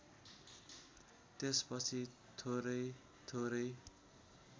त्यसपछि थोरै थोरै